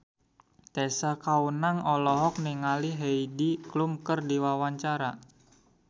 Tessa Kaunang olohok ningali Heidi Klum keur diwawancara